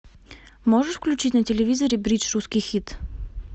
можешь включить на телевизоре бридж русский хит